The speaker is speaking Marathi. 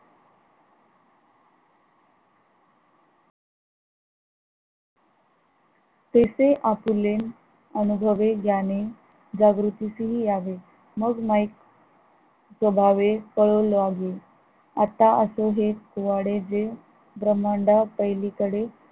तेथे आपले अनुभले ग्याने जागृतीस यावे मग माहित स्वभावे कळों लागो आता असो हे हे ब्रह्मडापलीकडे